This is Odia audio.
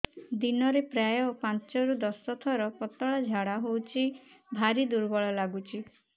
ଦିନରେ ପ୍ରାୟ ପାଞ୍ଚରୁ ଦଶ ଥର ପତଳା ଝାଡା ହଉଚି ଭାରି ଦୁର୍ବଳ ଲାଗୁଚି